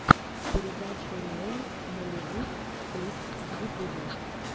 передача риэл нолливуд клипс в ютубе